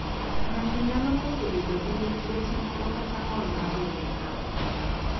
Ng'ato nyalo koso bedo gi lith luete moro kata ng'ol mar lwedo.